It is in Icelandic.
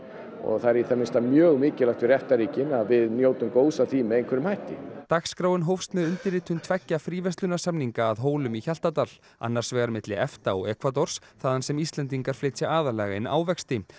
og það er í það minnsta mjög mikilvægt fyrir EFTA ríkin að við njótum góðs af því með einhverjum hætti dagskráin hófst með undirritun tveggja fríverslunarsamninga að Hólum í Hjaltadal annars vegar milli EFTA og þaðan sem Íslendingar flytja aðallega inn ávexti